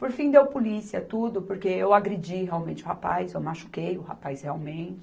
Por fim deu polícia tudo, porque eu agredi realmente o rapaz, eu machuquei o rapaz realmente.